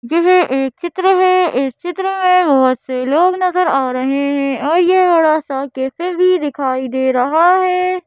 यह एक चित्र है इस चित्र में बहुत से लोग नजर आ रहे हैं और यह बड़ा सा कैफे भी दिखाई दे रहा है।